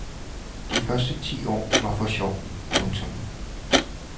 De første ti år var for sjov. punktum